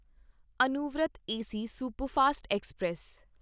Anuvrat AC superfast express